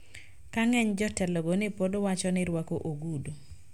Ka ng`eny jotelogo ne pod wacho ni rwako ogudu